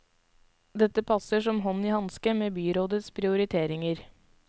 Dette passer som hånd i hanske med byrådets prioriteringer.